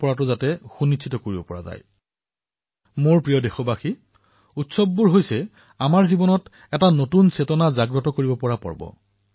মোৰ মৰমৰ দেশবাসীসকল উৎসৱে আমাৰ জীৱনত এক নতুন উদ্দীপনাৰ সৃষ্টি কৰে